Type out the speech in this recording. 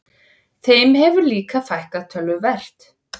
Þeim hefur líka fækkað töluvert